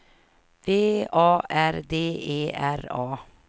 V A R D E R A